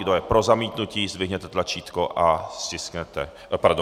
Kdo je pro zamítnutí, zdvihněte ruku a stiskněte tlačítko.